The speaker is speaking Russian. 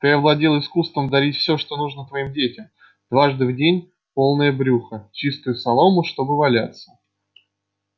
ты овладел искусством дарить всё что нужно твоим детям дважды в день полное брюхо чистую солому чтобы валяться